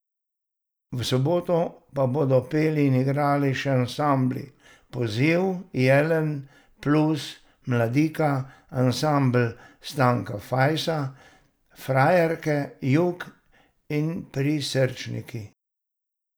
V soboto pa bodo peli in igrali še ansambli Poziv, Jelen, Plus, Mladika, Ansambel Stanka Fajsa, Frajerke, Jug in Prisrčniki.